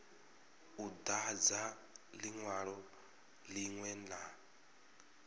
u dadza linwalo linwe na